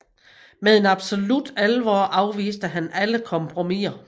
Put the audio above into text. Med en absolut alvor afviste han alle kompromiser